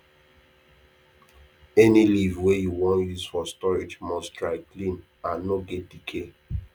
any leaf wey you wan use for storage must dry clean and no get decay